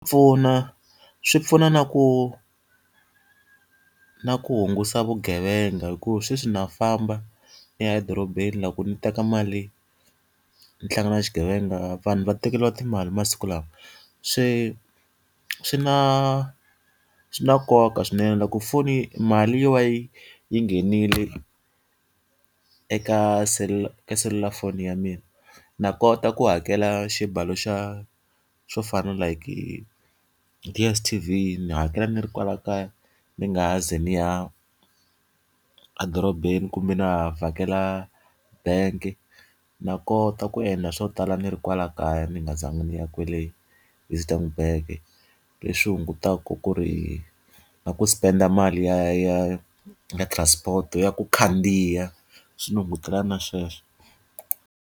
Pfuna swi pfuna na ku na ku hunguta vugevenga hikuva sweswi na famba ndzi ya edorobeni loko ndzi teka mali ndzi hlangana na xighevenga, vanhu va tekeriwa timali masiku lawa. Se swi na swi na nkoka swinene loko foni mali yo va yi yi yi nghenile eka selulafoni ya mina, na kota ku hakela xibalo xa xo fana like DSTV ndzi hakela ndzi ri kwala kaya, ndzi nga ha zi ndzi ya a dorobeni kumbe na ha vhakela bangi. Ndza kota ku endla swo tala ndzi ri kwala kaya ndzi nga zangi ni ya kwale . Leswi hungutaka ku ri na ku spend mali ya ya ya transport-i ya ku khandziya, swi ndzi hungutela na sweswo.